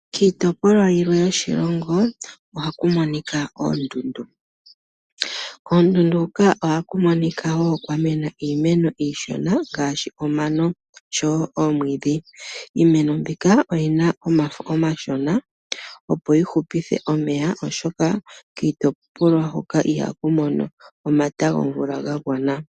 Kiitopolwa yilwe yoshilongo oha ku monika oondundu. Koondundu hoka oha kumonika woo kwamena iimeno iishona ngaashi omano osho woo oomwiidhi. Iimeno mbika oyina omafo omashona opo yi hupithe omeya oshoka kiitopolwa hoka iha ku mono omata gomvula ga gwana.